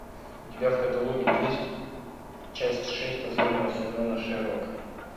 у тебя в каталоге есть часть шесть последнего сезона шерлок